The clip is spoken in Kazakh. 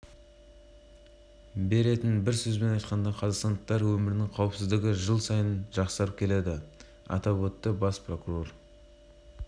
бүгінде барлық ақпарат ашық оны алу да тарату да қиын емес әрбір қылмыс интернет арқылы дереу